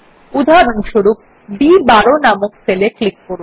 উদাহরণস্বরূপ বি12 নামক সেলে ক্লিক করুন